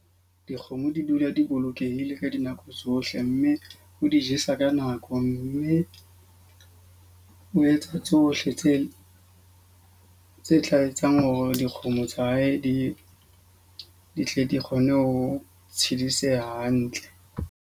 Dikgomo di dula di bolokehile ka dinako tsohle. Mme o di jesa ka nako. Mme o etsa tsohle tse tse tla etsang hore dikgomo tsa hae di tle di kgone ho tshidiseha hantle.